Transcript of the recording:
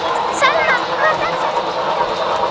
Salma, hver er dagsetningin í dag?